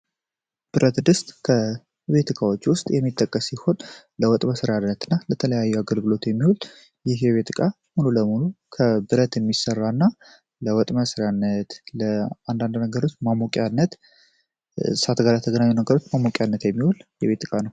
ብረት ድስት ከቤት እቃዎች ውስጥ የሚጠቀስ ሲሆን ለወጥ መስራነት እና ለተለያዩ አገልግሎት የሚሆል ይህ የቤት እቃ ሙሉ ለሙሉ ከብረት የሚሠራ እና ለወጥ መስራነት ለአንዳንድ ነገሮች ማሞቂነት ሳተጋላ ተግናኙ ነገሮች ማሞቅነት የሚሆል የቤት እቃ ነው።